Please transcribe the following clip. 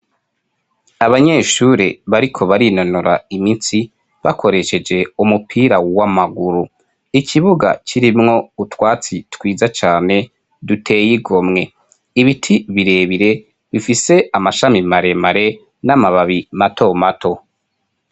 Abanyeshuri bariko barinonora imitsi bakoresheje umupira w'amaguru ikibuga kirimwo utwatsi twiza cane duteye igomwe ibiti bire bire bifise amashami mare mare n'amababi mato mato.